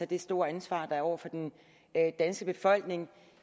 det store ansvar der er over for den danske befolkning